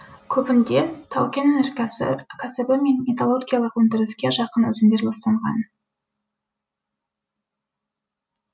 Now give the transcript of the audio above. көбінде тау кен өнеркә кәсібі мен металлургиялық өндіріске жақын өзендер ластанған